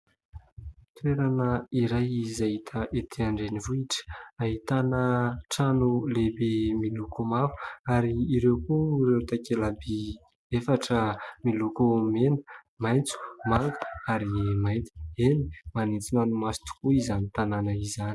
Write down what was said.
Toerana iray izay hita ety an-drenivohitra. Ahitana trano lehibe miloko mavo ary ireo koa ireo takela-by efatra miloko mena, maitso, manga ary mainty. Eny, manintona ny maso tokoa izany tanana izany.